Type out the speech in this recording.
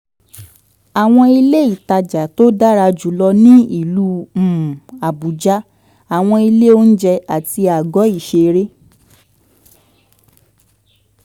àwọn ilé ìtajà tó dára jù lọ ní ìlú um abuja àwọn ilé oúnjẹ àti àgọ́ ìṣeré